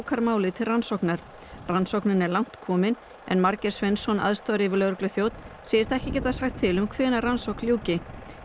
málið til rannsóknar rannsóknin er langt komin en Margeir Sveinsson aðstoðaryfirlögregluþjónn segist ekki geta sagt til um hvenær rannsókn ljúki